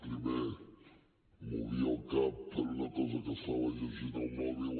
primer movia el cap per una cosa que estava llegint al mòbil